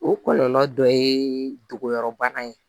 O kɔlɔlɔ dɔ ye dogoyɔrɔbana ye